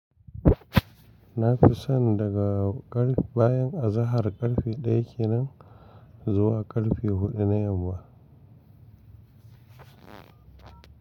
Na fi son daga ƙarf bayan azahar ƙarfi ɗaya kenan zuwa ƙarfi huɗu na yamma.